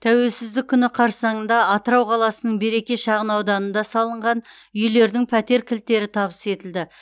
тәуелсіздік күні қарсаңында атырау қаласының береке шағын ауданда салынған үйлердің пәтер кілттері табыс етілді